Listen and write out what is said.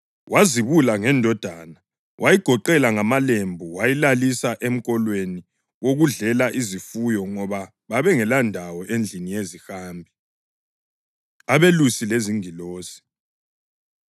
wazibula ngendodana. Wayigoqela ngamalembu, wayilalisa emkolweni wokudlela izifuyo ngoba babengelandawo endlini yezihambi. Abelusi Lezingilosi